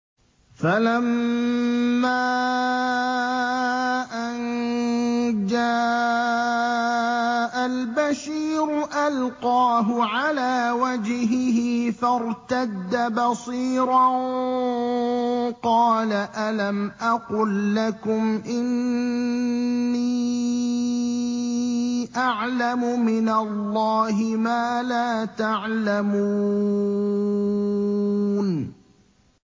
فَلَمَّا أَن جَاءَ الْبَشِيرُ أَلْقَاهُ عَلَىٰ وَجْهِهِ فَارْتَدَّ بَصِيرًا ۖ قَالَ أَلَمْ أَقُل لَّكُمْ إِنِّي أَعْلَمُ مِنَ اللَّهِ مَا لَا تَعْلَمُونَ